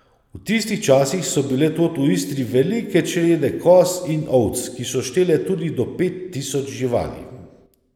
V tistih časih so bile tod v Istri velike črede koz in ovc, ki so štele tudi do pet tisoč živali.